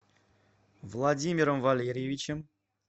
владимиром валерьевичем